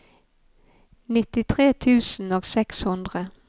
nittitre tusen og seks hundre